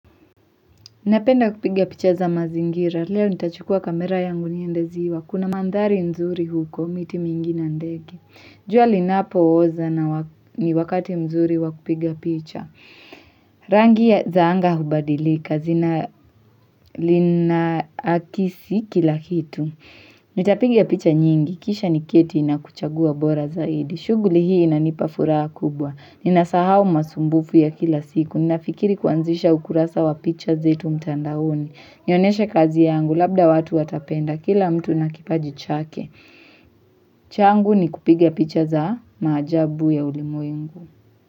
Napenda kupiga picha za mazingira, leo nitachukua kamera yangu niendeziwa, kuna mandhari nzuri huko, miti mingi na ndege. Jua linapo oza na ni wakati mzuri wakupiga picha. Rangi zaanga hubadilika zi na linaakisi kila hitu. Nitapiga picha nyingi, kisha ni keti nakuchagua bora zaidi. Shuguli hii inanipa furaha kubwa. Nina sahau masumbufu ya kila siku. Ninafikiri kuanzisha ukurasa wa picha zetu mtandaoni. Nionyeshe kazi yangu labda watu watapenda kila mtu nakipaji chake. Changu ni kupiga picha za maajabu ya ulimwengu.